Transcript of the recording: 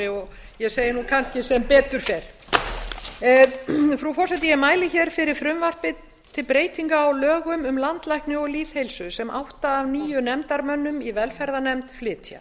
og ég segi nú kannski sem betur fer frú forseti ég mæli hér fyrir frumvarpi til breytinga á lögum um landlækni og lýðheilsu sem átta af níu nefndarmönnum í velferðarnefnd flytja